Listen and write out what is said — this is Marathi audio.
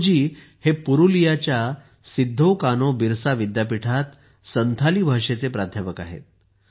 तुडू जी हे पुरुलियाच्या सिद्धोकानोबिरसा विद्यापीठात संथाली भाषेचे प्राध्यापक आहेत